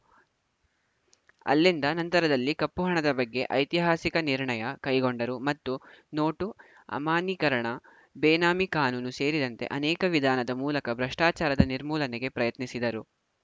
ಅಲ್ಲಿಂದ ನಂತರದಲ್ಲಿ ಕಪ್ಪು ಹಣದ ಬಗ್ಗೆ ಐತಿಹಾಸಿಕ ನಿರ್ಣಯ ಕೈಗೊಂಡರು ಮತ್ತು ನೋಟು ಅಮಾನ್ಯೀಕರಣ ಬೇನಾಮಿ ಕಾನೂನು ಸೇರಿದಂತೆ ಅನೇಕ ವಿಧಾನದ ಮೂಲಕ ಭ್ರಷ್ಟಾಚಾರದ ನಿರ್ಮೂಲನೆಗೆ ಪ್ರಯತ್ನಿಸಿದರು